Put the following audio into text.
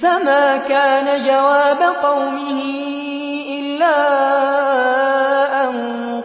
فَمَا كَانَ جَوَابَ قَوْمِهِ إِلَّا أَن